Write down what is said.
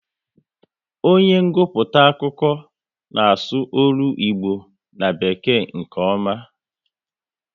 Onye nguputa akụkọ n'asu ọlụ Igbo na bekee nke ọma